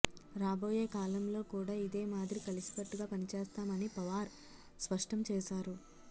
రాబోయే కాలంలో కూడా ఇదే మాదిరి కలసికట్టుగా పనిచేస్తామని పవార్ స్పష్టం చేశారు